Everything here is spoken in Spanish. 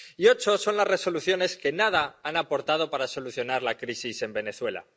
Y ocho son las Resoluciones que nada han aportado para solucionar la crisis en Venezuela.